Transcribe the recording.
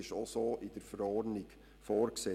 So ist es auch in der Verordnung vorgesehen.